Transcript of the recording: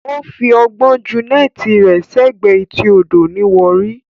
Ó fi ọgbọ́n jù neti rẹ sẹ́gbẹ̀ẹ́ etí odò ní Warri